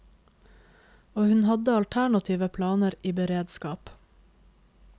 Og hun hadde alternative planer i beredskap.